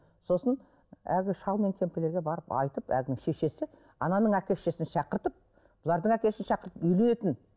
сосын әлгі шал мен кемпірлерге барып айтып әлгінің шешесі ананың әке шешесін шақыртып бұлардың әке шешесін шақыртып үйленетін